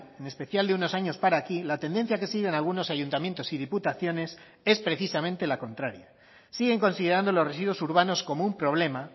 en especial de unos años para aquí la tendencia que siguen algunos ayuntamientos y diputaciones es precisamente la contraria siguen considerando los residuos urbanos como un problema